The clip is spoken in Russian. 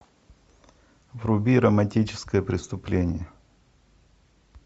вруби романтическое преступление